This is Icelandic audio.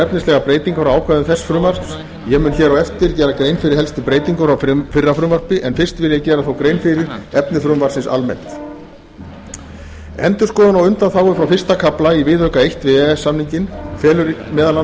efnislegar breytingar á ákvæðum þess frumvarps ég mun á eftir gera grein fyrir helstu breytingum frá fyrra frumvarpi en fyrst vil ég þó gera grein fyrir efni frumvarpsins almennt endurskoðun á undanþágum frá fyrsta kafla fyrsta viðauka við e e s samninginn felur